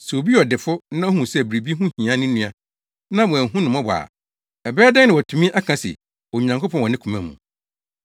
Sɛ obi yɛ ɔdefo na ohu sɛ biribi ho hia ne nua na wanhu no mmɔbɔ a, ɛbɛyɛ dɛn na watumi aka se ɔdɔ Onyankopɔn wɔ ne koma mu?